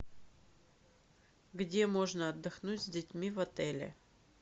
где можно отдохнуть с детьми в отеле